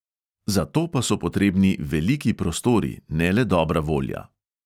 Za to pa so potrebni veliki prostori, ne le dobra volja.